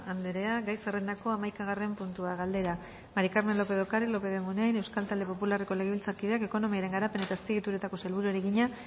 anderea gai zerrendako hamaikagarren puntua galdera maría del carmen lópez de ocariz lópez de munain euskal talde popularreko legebiltzarkideak ekonomiaren garapen eta azpiegituretako sailburuari egina